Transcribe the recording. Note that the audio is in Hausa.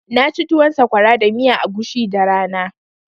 Na ci tuwon sakwara da miyan agushi da rana